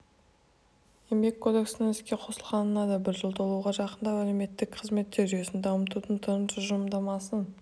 еңбек кодексінің іске қосылғанына да бір жыл толуға жақындап әлеуметтік қызметтер жүйесін дамытудың тың тұжырымдамасын